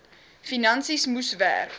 finansies moes werk